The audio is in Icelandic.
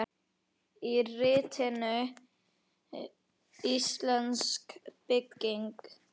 Í ritinu Íslensk bygging